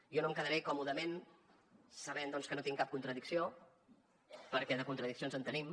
jo no em quedaré còmodament sabent que no tinc cap contradicció perquè de contradiccions en tenim